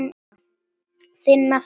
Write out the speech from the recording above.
Þinn nafni, Gestur Valur.